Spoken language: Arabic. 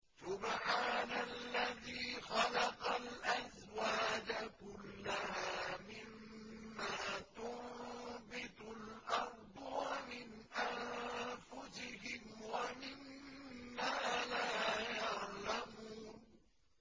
سُبْحَانَ الَّذِي خَلَقَ الْأَزْوَاجَ كُلَّهَا مِمَّا تُنبِتُ الْأَرْضُ وَمِنْ أَنفُسِهِمْ وَمِمَّا لَا يَعْلَمُونَ